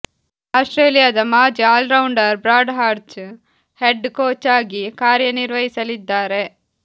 ಆಸ್ಟ್ರೇಲಿಯಾದ ಮಾಜಿ all rounder Brad Hodge head coach ಆಗಿ ಕಾರ್ಯನಿರ್ವಹಿಸಲಿದ್ದಾರೆ